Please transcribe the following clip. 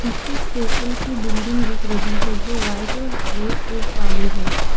पीछे स्टेशन की बिल्डिंग दिख रही है जो वाइट और रेड रूफ वाली है।